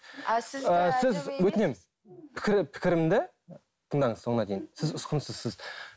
өтінемін пікір пікірімді тыңдаңыз соңына дейін сіз ұсқынсызсыз